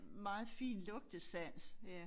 Meget fin lugtesans